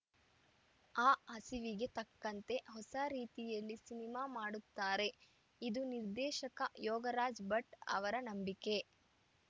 ಆ ಹಸಿವಿಗೆ ತಕ್ಕಂತೆ ಹೊಸ ರೀತಿಯಲ್ಲಿ ಸಿನಿಮಾ ಮಾಡುತ್ತಾರೆ ಇದು ನಿರ್ದೇಶಕ ಯೋಗರಾಜ್‌ ಭಟ್‌ ಅವರ ನಂಬಿಕೆ